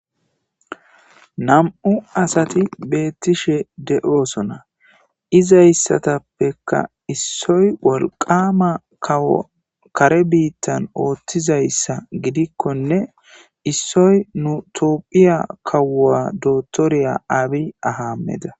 Nam'u asati beettishe de'oosona izayssatappeka issoy wolqama kawo kare biittan ootthizayssa gidikkonne issoy nu tophiya kawua dotoriya aabi ahameda.